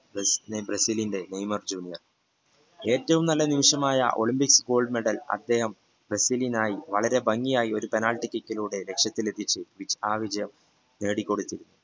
ബ്രസീലിന്റെ Neymar junior ഏറ്റവും നല്ല നിമിഷമായ ഒളിമ്പിക്സ് goldmedal ബ്രസീലിനായി വരലെ ഭംഗിയായി ഒരു penaltykick ലൂടെ ലക്ഷ്യത്തിലെത്തിച്ചു ആ വിജയം നേടിക്കൊടുത്തു